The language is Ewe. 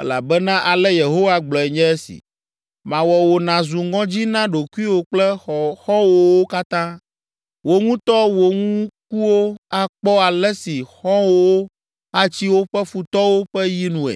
elabena ale Yehowa gblɔe nye esi: ‘Mawɔ wò nàzu ŋɔdzi na ɖokuiwò kple xɔ̃wòwo katã. Wò ŋutɔ wò ŋkuwo akpɔ ale si xɔ̃wòwo atsi woƒe futɔwo ƒe yi nue.